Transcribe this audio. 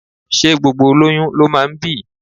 Ṣé gbogbo olóyún ló máa ń bí?